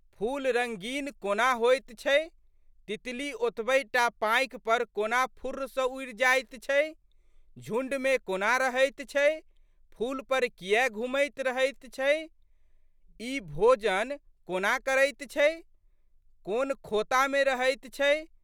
फूल रंगीन कोना होइत छै, तितली ओतबहि टा पाँखि पर कोना फुर्र सँ उड़ि जाइत छै, झुंडमे कोना रहैत छै, फूल पर कियै घुमैत रहैत छै, ई भोजन कोना करैत छै, कोन खोतामे रहैत छै?